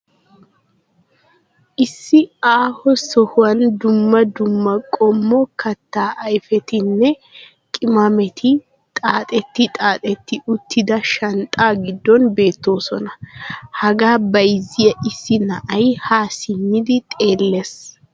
Issi aaho sohuwan dumma dumma qommo kataa ayfettinne qimametti xaaxxeti xaaxxeti uttida shanxaa giddon bettoosona. Hagaa bayzziya issi na'ay ha simmidi xeellees.